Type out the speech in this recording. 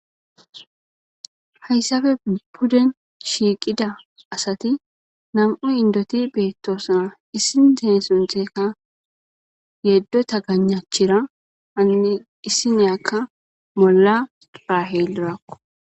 Hayssafe pudden shiiqida asati nam'u indoti beettoosna issindee suntekka yeddota ganachira anne issineyakka bolla raaheelrao.